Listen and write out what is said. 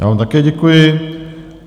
Já vám také děkuji.